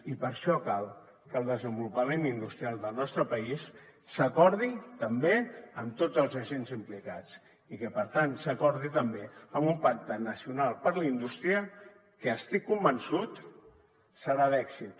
i per això cal que el desenvolupament industrial del nostre país s’acordi també amb tots els agents implicats i que per tant s’acordi també en un pacte nacional per a la indústria que estic convençut serà d’èxit